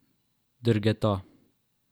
Drgeta.